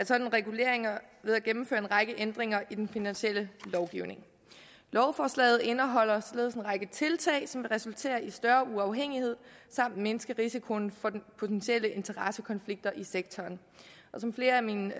sådan regulering ved at gennemføre en række ændringer i den finansielle lovgivning lovforslaget indeholder således en række tiltag som vil resultere i større uafhængighed samt mindske risikoen for potentielle interessekonflikter i sektoren som flere af mine